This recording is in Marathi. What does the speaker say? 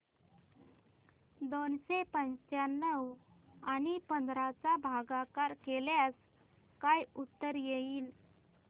दोनशे पंच्याण्णव आणि पंधरा चा भागाकार केल्यास काय उत्तर येईल